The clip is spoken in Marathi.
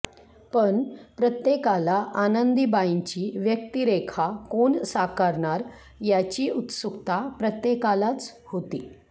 पण प्रत्येकाला आनंदीबाईंची व्यक्तिरेखा कोण साकारणार याची उत्सुकता प्रत्येकालाच होती